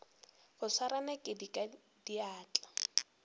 go swara nakedi ka diatla